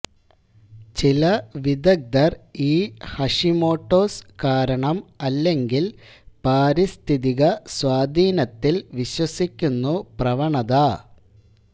ചില വിദഗ്ധർ ഈ ഹഷിമോട്ടോസ് കാരണം അല്ലെങ്കിൽ പാരിസ്ഥിതിക സ്വാധീനത്തിൽ വിശ്വസിക്കുന്നു പ്രവണത